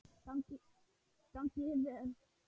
Gangi þér vel!